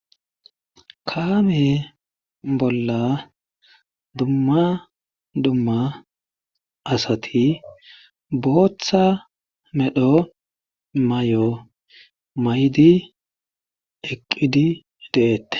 Kaame bolla dumma dumma asati booththa medhdho may'o may'di eqqidi deettees